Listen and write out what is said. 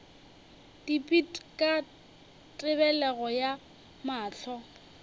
dipit ka tebelego ya mahlo